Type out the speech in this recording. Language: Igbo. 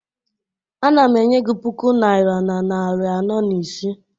Ana m enye gị puku naira na narị anọ na ise